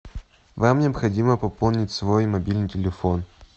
вам необходимо пополнить свой мобильный телефон